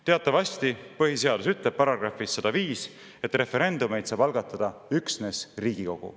Teatavasti põhiseadus ütleb §-s 105, et referendumeid saab algatada üksnes Riigikogu.